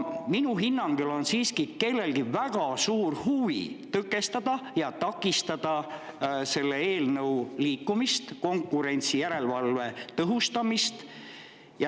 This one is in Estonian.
Minu hinnangul on siiski kellelgi väga suur huvi tõkestada ja takistada selle eelnõu liikumist ja konkurentsijärelevalve tõhustamist.